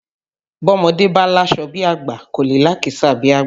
Bọ́mọdé bá láṣọ bí àgbà kò lè lákìísà bí àgbà